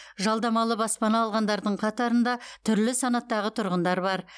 жалдамалы баспана алғандардың қатарында түрлі санаттағы тұрғындар бар